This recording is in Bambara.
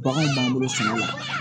Bagan b'an bolo sɛnɛ la